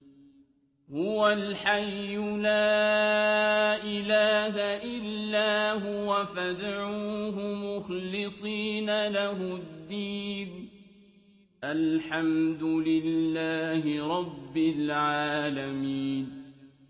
هُوَ الْحَيُّ لَا إِلَٰهَ إِلَّا هُوَ فَادْعُوهُ مُخْلِصِينَ لَهُ الدِّينَ ۗ الْحَمْدُ لِلَّهِ رَبِّ الْعَالَمِينَ